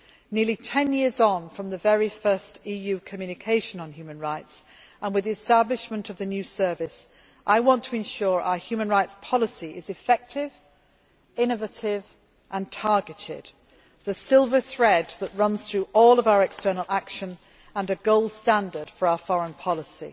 Nearly ten years on from the very first EU communication on human rights, and with the establishment of the new service, I want to ensure our human rights policy is effective, innovative and targeted the silver thread that runs through all of our external action and a gold standard for our foreign policy.